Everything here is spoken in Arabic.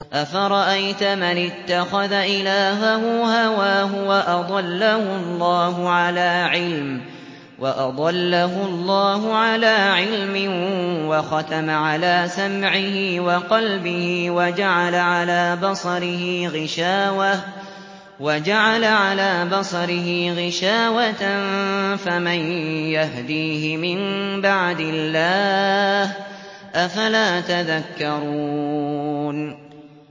أَفَرَأَيْتَ مَنِ اتَّخَذَ إِلَٰهَهُ هَوَاهُ وَأَضَلَّهُ اللَّهُ عَلَىٰ عِلْمٍ وَخَتَمَ عَلَىٰ سَمْعِهِ وَقَلْبِهِ وَجَعَلَ عَلَىٰ بَصَرِهِ غِشَاوَةً فَمَن يَهْدِيهِ مِن بَعْدِ اللَّهِ ۚ أَفَلَا تَذَكَّرُونَ